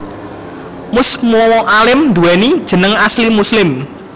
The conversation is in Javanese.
Mus Mualim nduwéni jeneng asli Muslim